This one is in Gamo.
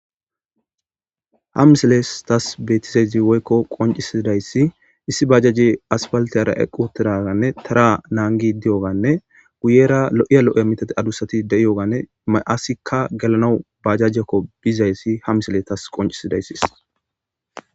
Ha misilen tas qoncisizays issi aspaliteyara eqi utizaysane tara nagidi dewuganee guyera lo'iya mithati adusati de'ogane asatika gelanawu bajajeko bishe dizaysa ha misile tawu qonicises